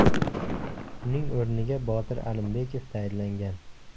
Uning o‘rniga Botir Alimbekov tayinlangan.